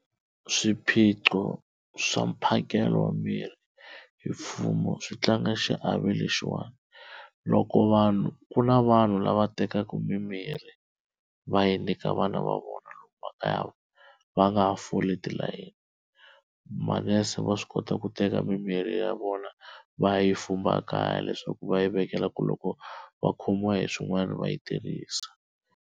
Swiphiqo swa mphakelo wa mirhi hi mfumo swi tlanga xiave lexiwani, loko vanhu ku na vanhu lava tekaka mimirhi va yi nyika vana va vona makaya va nga ha foli tilayeni, manese va swi kota ku teka mimirhi ya vona va ya yi fumba kaya leswaku va yi vekela ku loko va khomiwa hi swin'wana va yi tirhisa.